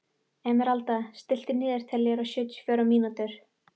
Emeralda, stilltu niðurteljara á sjötíu og fjórar mínútur.